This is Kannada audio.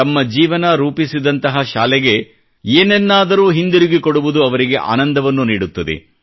ತಮ್ಮ ಜೀವನ ರೂಪಿಸಿದಂತಹ ಶಾಲೆಗೆ ಏನನ್ನಾದರೂ ಹಿಂದಿರುಗಿಸುವುದು ಅವರಿಗೆ ಆನಂದವನ್ನು ನೀಡುತ್ತದೆ